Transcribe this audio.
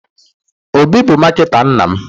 Obi bụ marketer nna m.